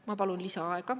Ma palun lisaaega.